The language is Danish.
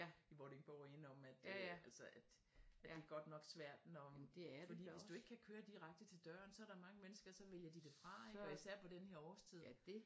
I Vordingborg In om at øh altså at det godt nok svært når fordi hvis du ikke kan køre direkte til døren så er der mange mennesker så vælger de det fra ik og især på den her årstid